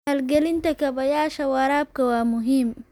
Maalgelinta kaabayaasha waraabka waa muhiim.